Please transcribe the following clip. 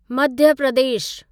Madhya Pradesh